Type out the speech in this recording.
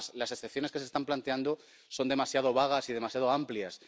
Es más, las excepciones que se están planteando son demasiado vagas y demasiado amplias.